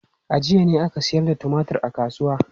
A jiya ne aka sayar da tumatur a kasuwa.